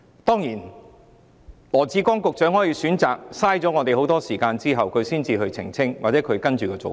當然，羅致光局長可以選擇浪費我們大量時間之後，才澄清他其後的做法。